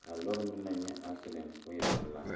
ka a lɔɔre meŋ naŋ nyɛ asedɛŋ k'o e pelaa.